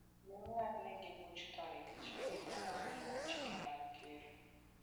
Ne ong'adnegi buch tho nikech ne gitamore luwo chike mag ker.